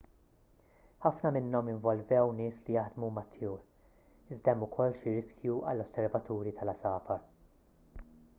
ħafna minnhom involvew nies li jaħdmu mat-tjur iżda hemm ukoll xi riskju għall-osservaturi tal-għasafar